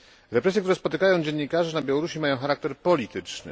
Represje, które spotykają dziennikarzy na Białorusi, mają charakter polityczny.